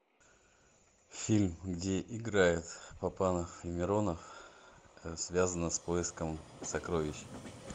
фильм где играет папанов и миронов связано с поиском сокровищ